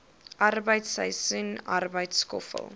arbeid seisoensarbeid skoffel